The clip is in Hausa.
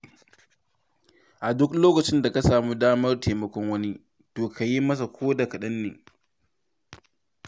A duk lokacin da ka samu damar taimakon wani, to ka yi masa koda kaɗanne.